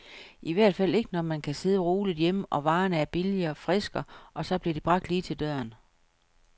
I hvert fald ikke når man kan sidde roligt hjemme, og varerne er billigere, friske, og så bliver de bragt lige til døren.